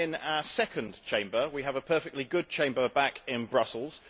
We are in our second Chamber. We have a perfectly good Chamber back in Brussels.